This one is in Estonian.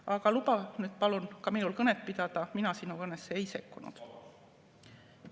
Aga luba nüüd palun ka minul kõnet pidada, mina sinu kõnesse ei sekkunud.